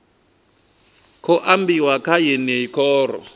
khou ambiwa kha yeneyi khoro